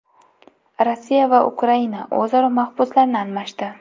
Rossiya va Ukraina o‘zaro mahbuslarni almashdi.